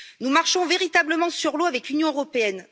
Nous marchons véritablement sur l'eau avec l'Union européenne.